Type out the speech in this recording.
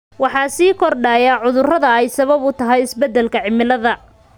Waxaa sii kordhaya cudurrada ay sabab u tahay isbedelka cimilada.